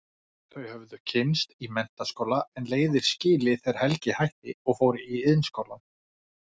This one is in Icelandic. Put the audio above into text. Þau höfðu kynnst í menntaskóla en leiðir skilið þegar Helgi hætti og fór í Iðnskólann.